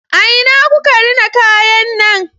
A ina kuka rina kayan nan?